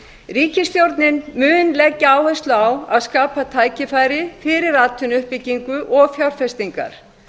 ríkisstjórnin mun leggja áherslu á að skapa tækifæri fyrir atvinnuuppbyggingu og fjárfestingar